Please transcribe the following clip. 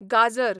गाजर